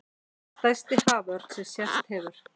Stærsti haförn sem sést hefur